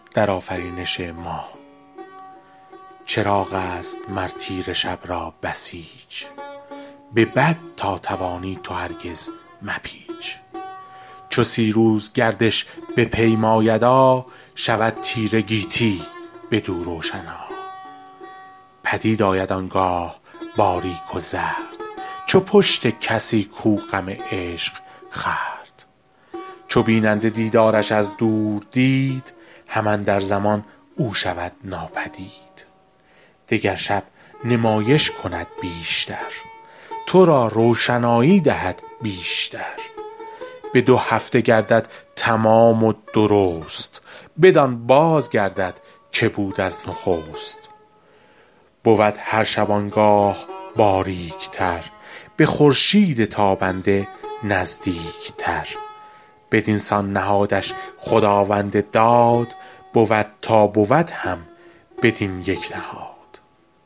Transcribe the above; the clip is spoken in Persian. چراغ است مر تیره شب را بسیچ به بد تا توانی تو هرگز مپیچ چو سی روز گردش بپیمایدا شود تیره گیتی بدو روشنا پدید آید آنگاه باریک و زرد چو پشت کسی کو غم عشق خورد چو بیننده دیدارش از دور دید هم اندر زمان او شود ناپدید دگر شب نمایش کند بیش تر تو را روشنایی دهد بیش تر به دو هفته گردد تمام و درست بدان باز گردد که بود از نخست بود هر شبانگاه باریک تر به خورشید تابنده نزدیک تر بدینسان نهادش خداوند داد بود تا بود هم بدین یک نهاد